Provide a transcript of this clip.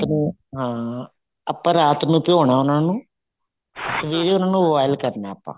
ਨੂੰ ਹਾਂ ਆਪਾਂ ਰਾਤ ਨੂੰ ਭਿਉਣਾ ਉਹਨੂੰ ਸਵੇਰੇ ਉਹਨਾ ਨੂੰ boil ਕਰਨਾ ਆਪਾਂ